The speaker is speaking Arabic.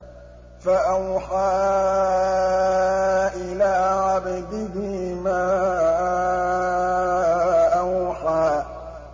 فَأَوْحَىٰ إِلَىٰ عَبْدِهِ مَا أَوْحَىٰ